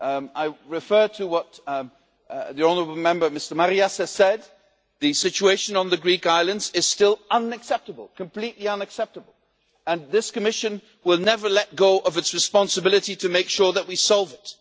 I refer to what the honourable Member Mr Marias has said the situation on the Greek islands is still unacceptable, completely unacceptable, and this Commission will never let go of its responsibility to make sure that we solve it.